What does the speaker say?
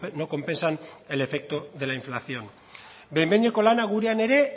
no compensan el efecto de la inflación behin behineko lana gurean ere